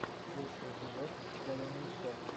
лучший эпизод зэремисто